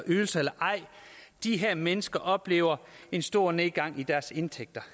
ydelser eller ej de her mennesker oplever en stor nedgang i deres indtægter